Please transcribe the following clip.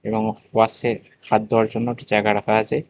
ওয়াসের হাত ধোয়ার জন্য একটি জায়গা রাখা আছে।